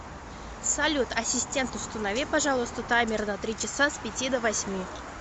салют ассистент установи пожалуйста таймер на три часа с пяти до восьми